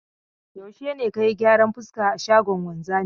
Yaushe ne ka yi gyaran fuska a shagon wanzami?